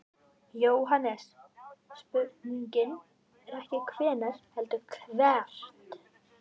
JÓHANNES: Spurningin er ekki hvenær heldur hvert.